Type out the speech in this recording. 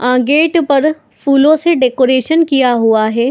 आ gate पर फूलों से डेकोरेशन किया हुआ है।